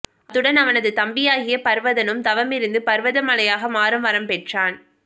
அத்துடன் அவனது தம்பியாகிய பர்வதனும் தவமிருந்து பர்வத மலையாக மாறும் வரம் பெற்றான்